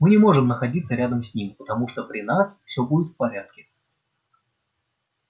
мы не можем находиться рядом с ним потому что при нас все будет в порядке